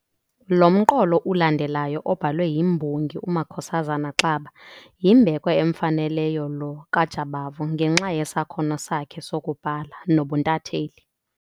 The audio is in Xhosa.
Lo mqolo ulandelayo obhalwe yimbongi uMakhosazana Xaba yimbeko emfaneleyo lo kaJabavungenxa yesakhono sakhe sokubhala nobuntatheli.